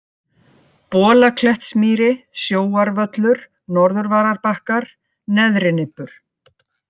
Bolaklettsmýri, Sjóarvöllur, Norðurvararbakkar, Neðrinibbur